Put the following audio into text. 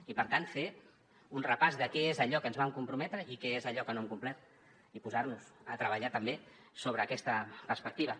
i per tant fer un repàs de què és allò a què ens vam comprometre i què és allò que no hem complert i posar nos a treballar també sobre aquesta perspectiva